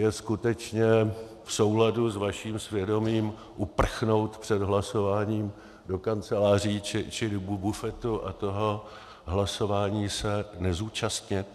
Je skutečně v souladu s vaším svědomím uprchnout před hlasováním do kanceláři či do bufetu a toho hlasování se nezúčastnit?